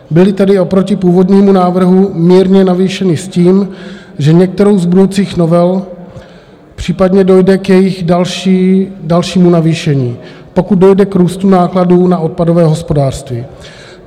Byly tedy oproti původnímu návrhu mírně navýšeny s tím, že některou z budoucích novel případně dojde k jejich dalšímu navýšení, pokud dojde k růstu nákladů na odpadové hospodářství.